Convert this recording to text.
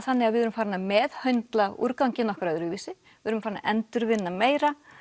þannig að við erum farin að meðhöndla úrganginn okkar öðruvísi við erum farin að endurvinna meira